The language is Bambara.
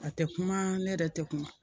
A tɛ kuma ne yɛrɛ tɛ kuma